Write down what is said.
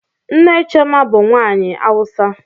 Nne Chioma bu nwanyi awusa.